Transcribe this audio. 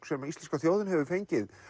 sem íslenska þjóðin hefur fengið